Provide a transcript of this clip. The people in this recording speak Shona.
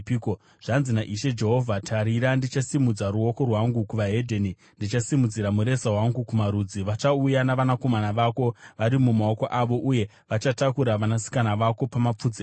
Zvanzi naIshe Jehovha, “Tarira ndichasimudza ruoko rwangu kune veDzimwe Ndudzi, ndichasimudzira mureza wangu kumarudzi; vachauya navanakomana vako vari mumaoko avo, uye vachatakura vanasikana vako pamapfudzi avo.